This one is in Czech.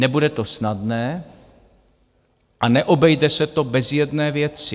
Nebude to snadné a neobejde se to bez jedné věci.